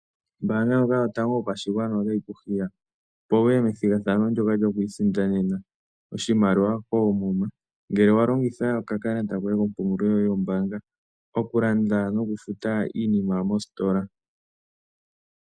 Ombanga yotango yopashigwana otayi ku hiya, opo wuye methigathano ndyoka lyokwiisindanena oshimaliwa koomuma, ngele wa longitha okakalata koye kombanga, oku futa noku landa iinima mostola.